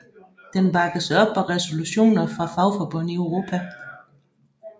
Den bakkes op af resolutioner fra fagforbund i Europa